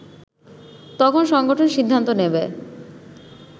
তখন সংগঠন সিদ্ধান্ত নেবে